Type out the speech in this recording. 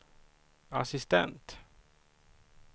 assistent